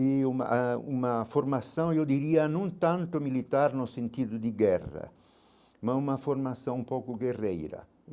E uma ãh uma formação, eu diria, não tanto militar no sentido de guerra, mas uma formação um pouco guerreira.